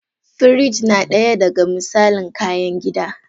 Firij na daya da ga misalin kayan gida.